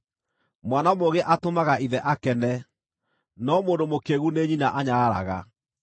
Mwana mũũgĩ atũmaga ithe akene, no mũndũ mũkĩĩgu nĩ nyina anyararaga.